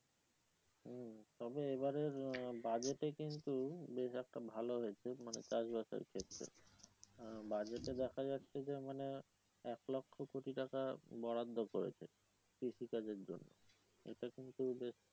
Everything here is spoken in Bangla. তবে এইবারের বাজেটে কিন্তু বেশ একটা ভালো হয়েছে মানে চাষ বাসের ক্ষেত্রে বাজেটে দেখা যাচ্ছে যে মানে এক লক্ষ কোটি টাকা বরাদ্ধ করেছে কৃষি কাজের জন্য এইটা কিন্তু বেশ